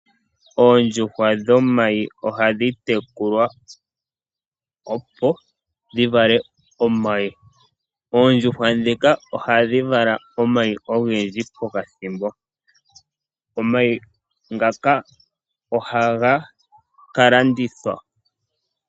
Oondjuhwa dhomayi ohadhi tekulwa, opo dhi vale omayi. Oondjuhwa ndhika ohadhi vala omayi ogendji pokathimbo. Omayi ngaka ohaga ka landithwa.